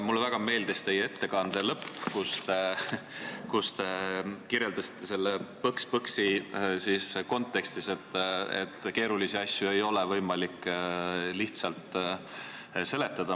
Mulle väga meeldis teie ettekande lõpp, kus te kirjeldasite selle põks-põksi kontekstis, et keerulisi asju ei ole võimalik lihtsalt seletada.